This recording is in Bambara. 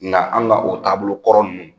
Nga anw ka o taabolo kɔrɔ nunnu